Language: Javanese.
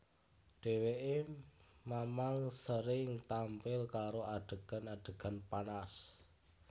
Dheweké mamang sering tampil karo adegan adegan panas